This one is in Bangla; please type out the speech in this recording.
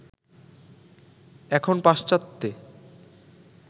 এখন পাশ্চাত্যে